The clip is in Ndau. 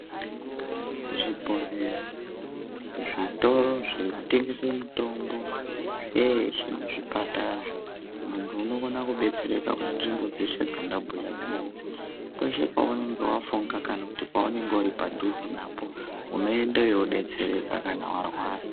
Zvibhedhleya, zvitoro zvikutengese mitombo zveshe nezvipatara muntu unokona kudetsereka munzvimbodzeshe dzandabhuya dzinedzi . Peshe pawanenge wafunga kana pawanenge uri padhuze napo unoendeyo weindodetsereka kana warwara